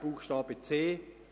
Buchstabe c